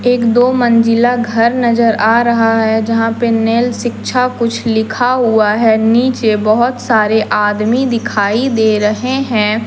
एक दो मंजिला घर नजर आ रहा है जहां पे नेल शिक्षा कुछ लिखा हुआ है नीचे बहुत सारे आदमी दिखाई दे रहे है।